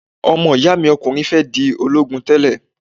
Ọmọ-ìyá mi okùnrin fẹ́ di ológun tẹ́lè